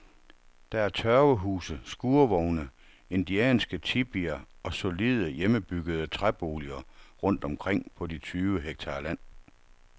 Der er tørvehuse, skurvogne, indianske tipier og solide, hjemmebyggede træboliger rundt omkring på de tyve hektar land.